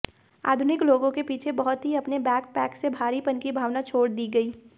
आधुनिक लोगों के पीछे बहुत ही अपने बैकपैक से भारीपन की भावना छोड़ दी गई